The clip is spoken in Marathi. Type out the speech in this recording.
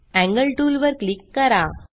एंगल टूल वर क्लिक करा